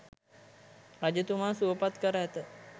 රජතුමා සුවපත් කර ඇත.